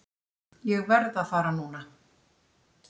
Ég verð að fara núna!